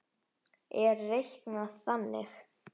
er reiknað þannig